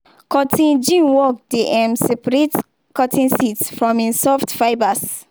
cotton gin work dey um separate cotton seeds from im soft fibres.